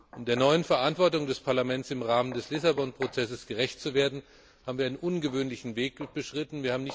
Um der neuen Verantwortung des Parlaments im Rahmen des Lissabon Prozesses gerecht zu werden, haben wir einen ungewöhnlichen Weg beschritten.